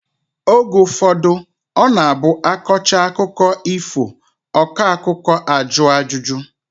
Oge ụfọdụ ọ na-abụ a kọchaa akụkọ ifo, ọkọakụ́kọ a jụọ ajụjụ